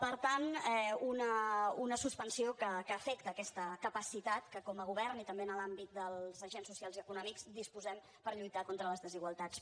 per tant una suspensió que afecta aquesta capacitat de què com a govern i també en l’àmbit dels agents socials i econòmics disposem per lluitar contra les desigualtats